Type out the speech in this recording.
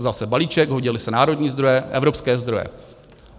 Vzal se balíček, hodily se národní zdroje, evropské zdroje.